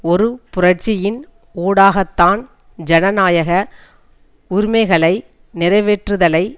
ஒரு புரட்சியின் ஊடாகத்தான் ஜனநாயக உரிமைகளை நிறைவேற்றுதலை